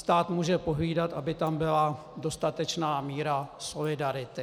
Stát může pohlídat, aby tam byla dostatečná míra solidarity.